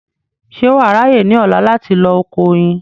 ṣé wà á ráyè ní ọ̀la láti lọ oko oyin